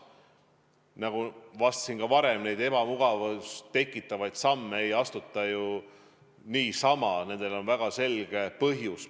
Nagu vastasin ka varem, neid ebamugavust tekitavaid samme ei astuta ju niisama, nendel on väga selge põhjus.